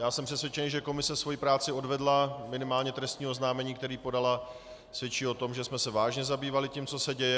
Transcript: Já jsem přesvědčen, že komise svoji práci odvedla, minimálně trestní oznámení, které podala, svědčí o tom, že jsme se vážně zabývali tím, co se děje.